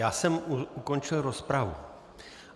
Já jsem ukončil rozpravu.